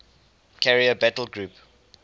carrier battle group